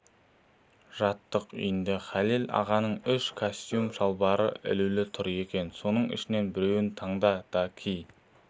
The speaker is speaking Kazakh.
жаттық үйде халел ағаның үш кәстөм-шалбары ілулі тұр екен соның ішінен біреуін таңда да ки